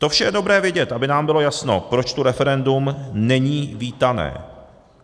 To vše je dobré vidět, aby nám bylo jasno, proč tu referendum není vítané.